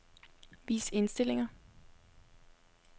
Vis indstillinger.